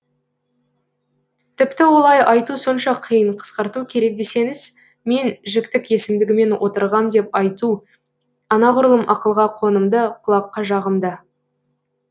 тіпті олай айту сонша қиын қысқарту керек десеңіз мен жіктік есімдігімен отырғам деп айту анағұрлым ақылға қонымды құлаққа жағымды